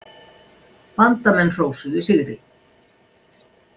Bandamenn hrósuðu sigri.